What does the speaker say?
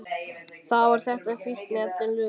Það var þetta sem fíkniefnin löguðu.